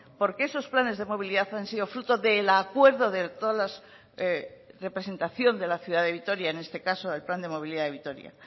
porque esos planes de movilidad han sido fruto del acuerdo de toda la representación de la ciudad de vitoria en este caso el plan de movilidad de vitoria